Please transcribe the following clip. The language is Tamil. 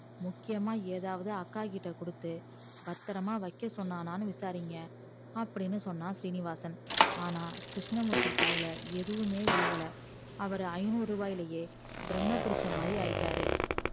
முக்கியமா எதாவுது அக்க கிட்ட கொடுத்து பத்தரமா வைக்க சொன்னானு விசாரிங்க அப்படினு சொன்னா சீனிவாசன் ஆனா கிருஸ்னமூர்த்தி காதுல எதுமே விழுகல அவரு ஐந்நூறுவாயில பிரம்ம புடிச்ச மாதிரி ஆயிட்டாறு